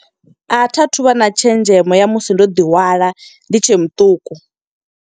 A tha thu vha na tshenzhemo ya musi ndo ḓihwala, ndi tshe muṱuku.